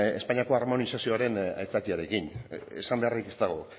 espainiako harmonizazioaren aitzakiarekin esan beharrik ez dago